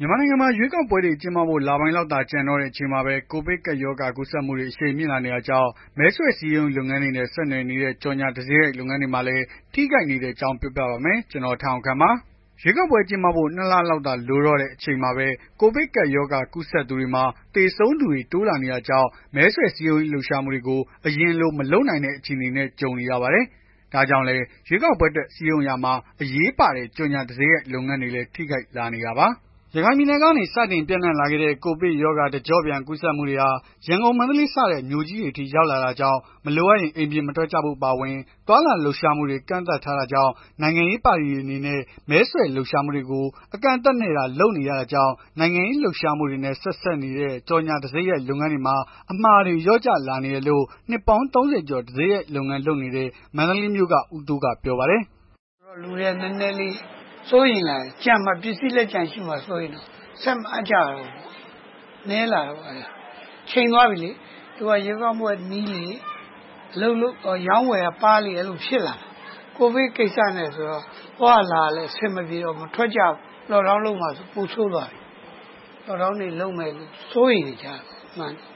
မြန်မာနိုင်ငံမှာ ရွေးကောက်ပွဲတွေ ကျင်းပဖို့ လပိုင်းလောက်သာ ကျန်တော့တဲ့ အချိန်မှာပဲ ကိုဗစ်ကပ်ရောဂါ ကူးစက်မှုတွေ အရှိန်မြင့်လာနေတာကြောင့် မဲဆွယ်စည်းရုံးရေးလုပ်ငန်းတွေနဲ့ ဆက်နွယ်နေတဲ့ ကြော်ငြာတံဆိပ်ရိုက်လုပ်ငန်းတွေမှာလည်း ထိခိုက်နေတဲ့အကြောင်း ပြောပြပါမယ်။ ဗွီအိုအေမြန်မာပိုင်း သတင်းထောက် ကို ထက်အောင်ခန့် တင်ဆက်ပေးပါမယ်။ ရွေးကောက်ပွဲ ကျင်းပဖို့ ၂ လလောက်သာ လိုတော့တဲ့ အချိန်မှာပဲ ကိုဗစ်ကပ်ရောဂါ ကူးစက်သူတွေမှာ သေဆုံးသူတွေ တိုးလာနေတာကြောင့် မဲဆွယ်စည်းရုံးရေး လှုပ်ရှားမှုတွေကို အရင်လို မလုပ်နိုင်တဲ့ အခြေအနေနဲ့ ကြုံနေရပါတယ်။ ဒါကြောင့်လည်း ရွေးကောက်ပွဲအတွက် စည်းရုံးရာမှာ အရေးပါတဲ့ ကြော်ငြာတံဆိပ်ရိုက်လုပ်ငန်းတွေလည်း ထိခိုက်လာနေတာပါ။ ရခိုင်ပြည်နယ်ကနေ စတင်ပျံ့နှံ့လာခဲ့တဲ့ ကိုဗစ်ရောဂါ တကျော့ပြန် ကူးစက်မှုတွေဟာ ရန်ကုန်၊ မန္တလေးစတဲ့ မြို့ကြီးတွေအထိ ရောက်လာတာကြောင့် မလိုအပ်ရင် အိမ်ပြင်မထွက်ကြဖို့ အပါအဝင် သွားလာလှုပ်ရှားမှုတွေကို ကန့်သတ်ထားတာကြောင့် နိုင်ငံရေး ပါတီတွေ အနေနဲ့ မဲဆွယ်လှုပ်ရှားမှုတွေကို အကန့်အသတ်နဲ့သာ လုပ်နေကြရတာကြောင့် နိုင်ငံရေးလှုပ်ရှားမှုတွေနဲ့ ဆက်စပ်နေတဲ့ ကြော်ငြာတံဆိပ်ရိုက် လုပ်ငန်းတွေမှာ အမှာတွေ လျော့ကျလာနေတယ်လို့ နှစ်ပေါင်း ၃၀ ကျော် တံဆိပ်ရိုက် လုပ်ငန်းလုပ်နေတဲ့ မန္တလေးမြို့က ဦးတိုးက ပြောပါတယ်။ “လူတွေက နည်းနည်းလေး စိုးရိမ်လာတယ်။ ကျန်မှာ ပစ္စည်း လက်ကျန် ကျန်မှာ စိုးရိမ်နေကြတယ်။ ဆက်မအပ်ကြတော့ဘူးပေါ့။ နည်းလာတာပေါ့။ ချိန်သွားပြီလေ သူက ရွေးကောက်ပွဲ နီးလေ အရောင်း အဝယ်ကပါးလေ အဲ့လိုဖြစ်နေတာ။ COVID ကိစ္စနဲ့ဆိုတော့ သွားရလာရ အဆင်မပြေတော့ဘူး။ မထွက် ကြတော့ဘူး။ Lockdown လုပ်မှာဆိုတော့ ပိုဆိုးသွားပြီ။ Lockdown လုပ်တယ် စိုးရိမ်နေကြတာပေါ့။”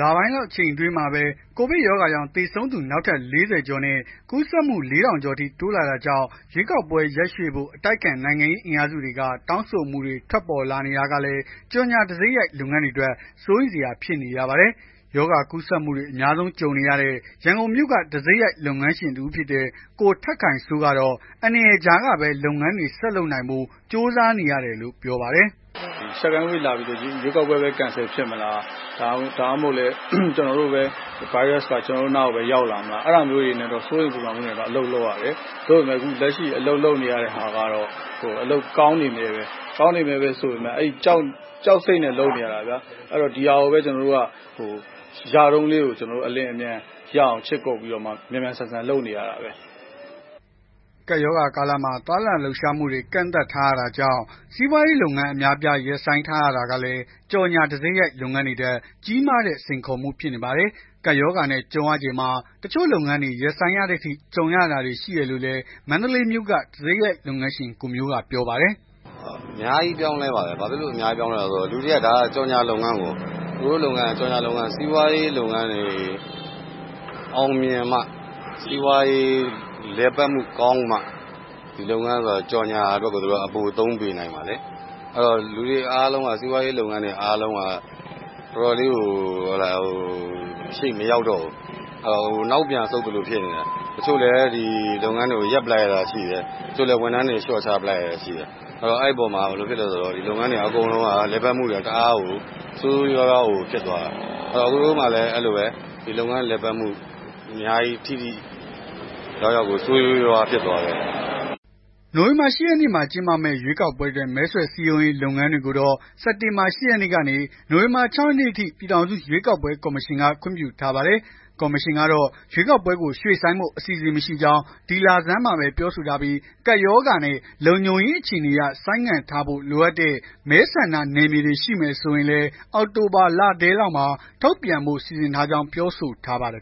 လပိုင်းလောက် အချိန်တိုအတွင်းမှာပဲ ကိုဗစ်ရောဂါကြောင့် သေဆုံးသူ နောက်ထပ် ၄၀ ကျော်နဲ့ ကူးစက်မှု ၄ ထောင်လောက်အထိ တိုးလာတာကြောင့် ရွေးကောက်ပွဲ ရက်ရွှေ့ဖို့ အတိုက်အခံ နိုင်ငံရေးအင်အားစုတွေက တောင်းဆိုမှုတွေ ထွက်ပေါ်လာနေတာကလည်း ကြော်ငြာတံဆိပ်ရိုက် လုပ်ငန်းရှင်တွေအတွက် စိုးရိမ်စရာ ဖြစ်နေရပါတယ်။ ရောဂါကူးစက်မှုတွေ အများဆုံး ကြုံနေရတဲ့ ရန်ကုန်မြို့က တံဆိပ်ရိုက် လုပ်ငန်းရှင်တစ်ဦးဖြစ်တဲ့ ကိုထက်ခိုင်စိုးကတော့ အန္တရာယ်ကြားကပဲ လုပ်ငန်းတွေ ဆက်လုပ်နိုင်ဖို့ ကြိုးစားနေရတယ်လို့ ပြောပါတယ်။ “Second Wave လာပြီဆိုတော့ ရွေးကောက်ပွဲပဲ Cancel ဖြစ်မလား။ ဒါမှမဟုတ် ဗိုင်းရပ်က ကျွန်တော်တို့ အနားပဲရောက်လာမလား။ အဲ့ဒါမျိုးတွေ စိုးရိမ်ပူပန်မှုတွေနဲ့ အလုပ်လုပ်ရတယ်။ လက်ရှိအလုပ်လုပ်နေရတာ ကကောင်းနေမြဲပဲ။ ကောင်းနေမြဲဆိုပေမယ့် ကြောက်စိတ်နဲ့ လုပ်နေရတာ ဒီဟာကိုပဲ ရတုန်းလေး အလျင်အမြန် ခြစ်ကုတ်ပြီး မြန်မြန်ဆန်ဆန် လုပ်နေရတာ။” ကပ်ရောဂါကာလမှာ သွားလာလှုပ်ရှားမှုတွေ ကန့်သတ်ထားရတာကြောင့် စီးပွားရေးလုပ်ငန်း အများအပြား ရပ်ဆိုင်းထားရတာကလည်း ကြော်ငြာတံဆိပ်ရိုက်လုပ်ငန်းတွေအတွက် ကြီးမားတဲ့ စိန်ခေါ်မှုတခုဖြစ်နေပါတယ်။ ကပ်ရောဂါနဲ့ ကြုံရချိန်မှာ တချို့လုပ်ငန်းတွေ ရပ်ဆိုင်းရတဲ့အထိ ကြုံရတာတွေ ရှိတယ်လို့လည်း မန္တလေးမြို့က တံဆိပ်ရိုက်လုပ်ငန်းရှင် ကိုမျိုးကပြောပါတယ်။ “အများကြီးပြောင်းလဲပါတယ်။ လူတွေက ဒါက ကြော်ငြာလုပ်ငန်းကို အကိုတို့လုပ်ငန်းက ကြော်ငြာလုပ်ငန်း စီးပွား ရေးလုပ်ငန်းတွေ အောင်မြင်မှ စီးပွားရေး လုပ်ငန်းတွေ လည်ပတ်မှုကောင်းမှ ဒီလုပ်ငန်း ကြော်ငြာအတွက် ပိုသုံး ပေးနိုင်မှာလေ။ လူတွေအားလုံးက စီးပွားရေးလုပ်ငန်းတွေ အားလုံးက ရှေ့မရောက်တော့ဘူး နောက်ပြန် ဆုတ် သလိုဖြစ်နေတယ်။ တချို့လည်း ဒီလုပ်ငန်းတွေကို ရပ်ပလိုက်ရတာရှိတယ်။ တချို့လည်း ဝန်ထမ်းတွေ လျော့ချ လိုက်ရတာရှိတယ်။ အဲ့တော့ ဒီလုပ်ငန်း လည်ပတ်မှုတွေက တအားကို ဆိုးဆိုးရွားရွားကို ဖြစ်သွားတာ။ အကိုတို့မှာလည်း အဲ့လိုပဲ ဒီလုပ်ငန်းလည်မှုမှာ ဆိုးဆိုးရွားရွား ဖြစ်သွားတယ်။” နိုဝင်ဘာ ၈ ရက်နေ့မှာ ကျင်းပမယ့် ရွေးကောက်ပွဲအတွက် မဲဆွယ်စည်းရုံးရေး လုပ်ငန်းတွေကိုတော့ စက်တင်ဘာလ ၈ ရက်နေ့ကနေ နိုဝင်ဘာလ ၆ ရက်နေ့အထိ ပြည်ထောင်စုရွေးကောက်ပွဲ ကော်မရှင်က ခွင့်ပြုထားပါတယ်။ ကော်မရှင်ကတော့ ရွေးကောက်ပွဲကို ရွှေ့ဆိုင်းဖို့ အစီအစဉ်မရှိကြောင်း ဒီလဆန်းမှာပဲ ပြောဆိုထားပြီး ကပ်ရောဂါနဲ့ လုံခြုံရေးအခြေအနေအရ ဆိုင်းငံ့ထားဖို့ လိုအပ်တဲ့ မဲဆန္ဒနယ်မြေတွေ ရှိမယ်ဆိုရင်လည်း အောက်တိုဘာလထဲလောက်မှာ ထုတ်ပြန်ဖို့ စီစဉ်ထားကြောင်း ပြောဆိုထားပါတယ်